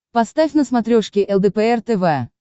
поставь на смотрешке лдпр тв